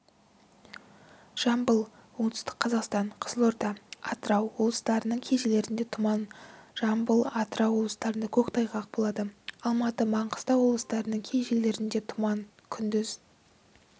жамбыл оңтүстік қазақстан қызылорда атырау олыстарының кей жерлерінде тұман жамбыл атырау облыстарында көктайғақ болады алматы маңғыстау облыстарының кей жерлерінде тұман күндіз